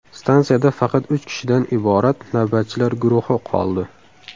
Stansiyada faqat uch kishidan iborat navbatchilar guruhi qoldi.